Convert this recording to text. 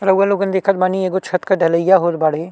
रउवा लोगन देखत बानी एगो छत के ढलईया होत बाड़े।